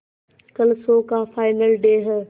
कल शो का final day है